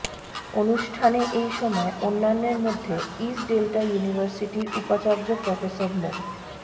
অনুষ্ঠানে এই সময় অন্যান্যের মধ্যে ইস্ট ডেল্টা ইউনিভার্সিটির উপাচার্য প্রফেসর মো